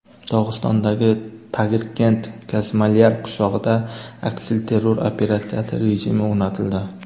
Dog‘istondagi Tagirkent-Kazmalyar qishlog‘ida aksilterror operatsiyasi rejimi o‘rnatildi.